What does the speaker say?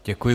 Děkuji.